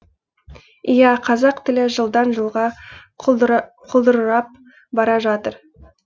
иә қазақ тілі жылдан жылға құлдырырап бара жатыр